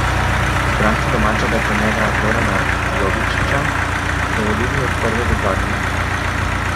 Izbranci domačega trenerja Zorana Jovičića so vodili od prve do zadnje minute.